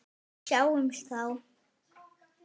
Sjáumst þá.